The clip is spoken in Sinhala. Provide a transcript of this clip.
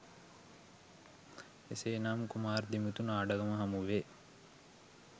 එසේ නම් කුමාර් දිමුතු නාඩගම හමුවේ